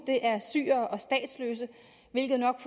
er syrere og statsløse hvilket nok